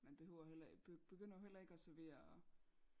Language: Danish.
Man behøver jo heller begynder jo heller ikke at servere